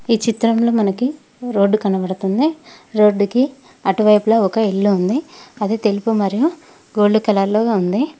ఈ చిత్రంలో మనకి రోడ్డు కనబడుతుంది రోడ్డుకి అటువైపులా ఒక ఇల్లు ఉంది అది తెలుపు మరియు గోల్డ్ కలర్ లో ఉంది.